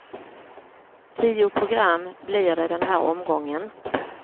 Tio program blir det den här omgången.